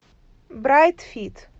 брайт фит